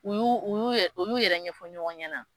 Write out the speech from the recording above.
U y'u u y'u yɛrɛ ɲɛfɔ ɲɔgɔn ɲɛna